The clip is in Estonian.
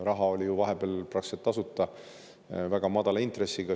Raha oli ju vahepeal praktiliselt tasuta, väga madala intressiga.